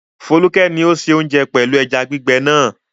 Folúkẹ́ ni ó se oúnjẹ pẹ̀lú ẹja gbígbẹ náà.